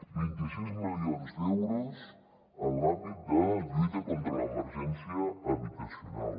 vint i sis milions d’euros en l’àmbit de lluita contra l’emergència habitacional